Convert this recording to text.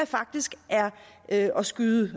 faktisk er at at skyde